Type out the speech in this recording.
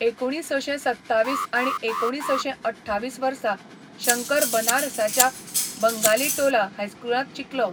एकुणीसशें सत्तावीस आनी एकुणीसशें अठ्ठावीस वर्सा शंकर बनारसाच्या बंगालीटोला हायस्कुलांत शिकलो.